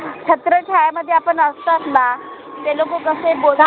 छात्रछाया मध्ये आपन असतात ना ते लोक कसे बोला